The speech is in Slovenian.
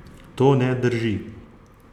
To ne drži.